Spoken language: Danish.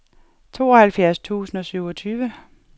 tooghalvfjerds tusind og syvogtyve